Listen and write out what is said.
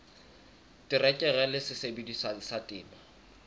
terekere le sesebediswa sa temo